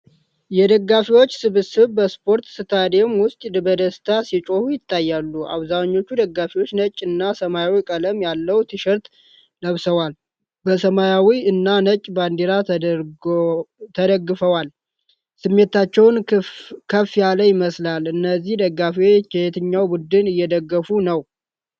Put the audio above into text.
የደጋፊዎች ስብስብ በስፖርት ስታዲየም ውስጥ በደስታ ሲጮሁ ይታያሉ። አብዛኞቹ ደጋፊዎች ነጭ እና ሰማያዊ ቀለም ያለው ቲሸርት ለብሰዋል፣ በሰማያዊ እና ነጭ ባንዲራ ተደግፈዋል። ስሜታቸው ከፍ ያለ ይመስላል። እነዚህ ደጋፊዎች የትኛውን ቡድን እየደገፉ ነው?